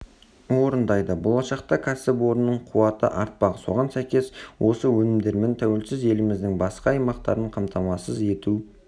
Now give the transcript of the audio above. орындайды болашақта кәсіпорынның қуаты артпақ соған сәйкес осы өнімдермен тәуелсіз еліміздің басқа аймақтарын қамтамасыз ету